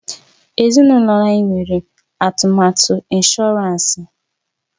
Ezinụlọ anyị nwere atụmatụ ịnshọransị.